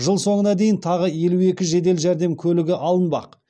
жыл соңына дейін тағы елу екі жедел жәрдем көлігі алынбақ